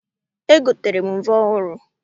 Egotere m mvọ ọhụrụ